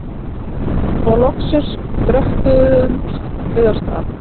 Og loksins dröttuðumst við af stað.